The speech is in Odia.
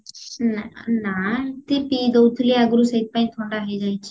ନା ନା ଏମତି ପିଇ ଦଉଥିଲି ଆଗରୁ ସେଇଥି ପାଇଁ ଥଣ୍ଡା ହେଇଯାଇଛି